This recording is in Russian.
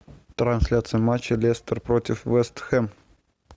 трансляция матча лестер против вест хэм